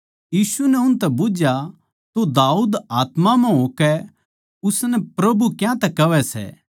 यीशु नै उनतै बुझया तो दाऊद आत्मा म्ह होकै उसनै प्रभु क्यांतै कहवै सै